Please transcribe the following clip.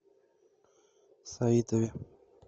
саитове